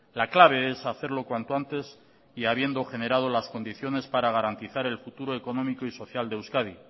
la clave es hacerlo cuanto antes y habiendo generado las condiciones para garantizar el futuro económico y social de euskadi